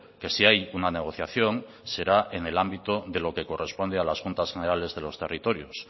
que si hay una negociación será en el ámbito de lo que corresponde a las juntas generales de los territorios